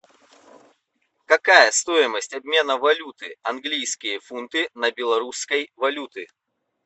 какая стоимость обмена валюты английские фунты на белорусской валюты